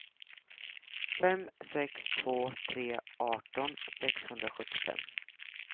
fem sex två tre arton sexhundrasjuttiofem